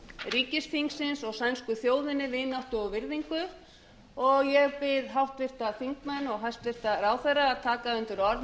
ríkisþingsins og sænsku þjóðinni vináttu og virðingu ég bið háttvirta alþingismenn og hæstvirtur ráðherra að taka undir orð